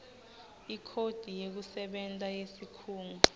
ikhodi yekusebenta yesikhungo